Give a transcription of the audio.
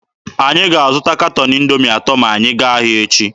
Anyị ga-azụta katọn Indoomi atọ ma anyị gaa ahịa echi.